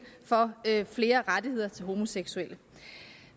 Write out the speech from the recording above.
for flere rettigheder til homoseksuelle